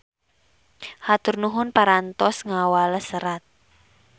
Hatur nuhun parantos ngawales serat.